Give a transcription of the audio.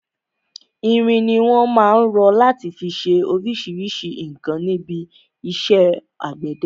Irin ni wọn má ń rọ láti fi ṣe oríṣríṣi nǹkan níbi iṣẹ́ àgbẹ̀dẹ.